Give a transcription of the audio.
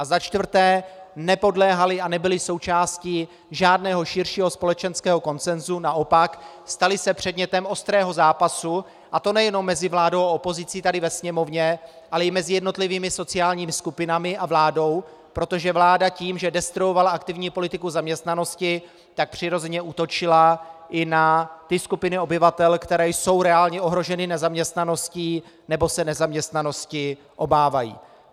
A za čtvrté, nepodléhaly a nebyly součástí žádného širšího společenského konsensu, naopak, staly se předmětem ostrého zápasu, a to nejenom mezi vládou a opozicí tady ve Sněmovně, ale i mezi jednotlivými sociálními skupinami a vládou, protože vláda tím, že destruovala aktivní politiku zaměstnanosti, tak přirozeně útočila i na ty skupiny obyvatel, které jsou reálně ohroženy nezaměstnaností nebo se nezaměstnanosti obávají.